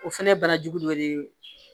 O fɛnɛ ye bana jugu dɔ de ye